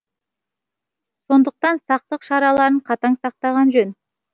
сондықтан сақтық шараларын қатаң сақтаған жөн